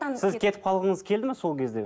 сіз кетіп қалғыңыз келді ме сол кезде